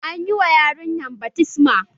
An yi wa yarinyan baftisma